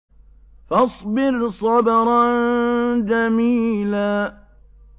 فَاصْبِرْ صَبْرًا جَمِيلًا